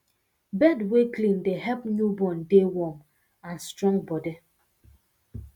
bed wer clean dey help newborn dey warm and strong body